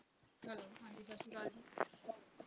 Hello ਹਾਂਜੀ ਸਤਿ ਸ਼੍ਰੀ ਅਕਾਲ ਜੀ